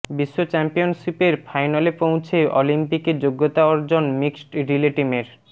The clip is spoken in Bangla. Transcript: বিশ্ব চ্যাম্পিয়নশিপের ফাইনালে পৌঁছে অলিম্পিকে যোগ্যতা অর্জন মিক্সড রিলে টিমের